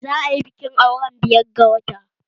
Za a yi bikin auren biyar ga wata